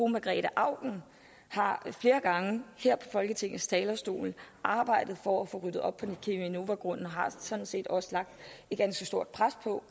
margrete auken har flere gange her på folketingets talerstol arbejdet for at få ryddet op på cheminovagrunden og har sådan set også lagt et ganske stort pres på